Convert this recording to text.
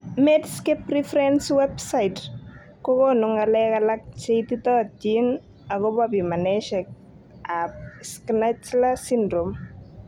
Medscape Reference's Web site kokonu ng'alek alak cheititoyotin agobo pimanosiek ab Schnitzler syndrome.